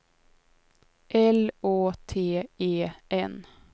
L Å T E N